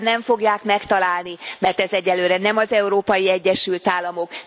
Jelentem nem fogják megtalálni, mert ez egyelőre nem az Európai Egyesült Államok.